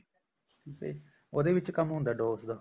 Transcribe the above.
ਠੀਕ ਆ ਜੀ ਉਹਦੇ ਵਿੱਚ ਕੰਮ ਹੁੰਦਾ DOS ਦਾ